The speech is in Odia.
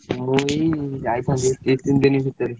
ମୁଁ ଏଇ ଯାଇଥାନ୍ତି ଦି ତିନ ଦିନ ଭିତରେ।